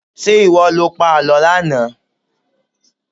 Ṣé ìwọ lo pa àlọ́ lánàá?